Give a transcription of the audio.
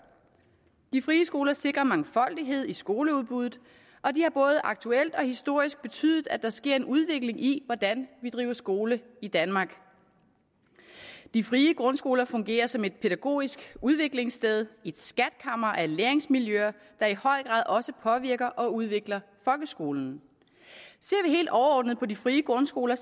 de frie skoler sikrer mangfoldighed i skoleudbuddet og de har både aktuelt og historisk betydet at der sker en udvikling i hvordan vi driver skole i danmark de frie grundskoler fungerer som et pædagogisk udviklingssted et skatkammer af læringsmiljøer der i høj grad også påvirker og udvikler folkeskolen ser vi helt overordnet på de frie grundskoler